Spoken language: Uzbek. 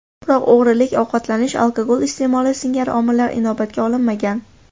Biroq og‘irlik, ovqatlanish, alkogol iste’moli singari omillar inobatga olinmagan.